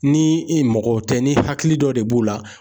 Ni i mago tɛ, ni hakili dɔ de b'o la